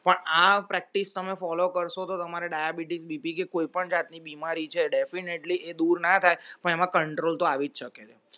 પણ આ practice તમે follow કરશો તો તમારે diabetesBP કે definitely જાતની બીમારી છે definitely એ દૂર ના થાય પણ એમાં control તો આવી જ શકે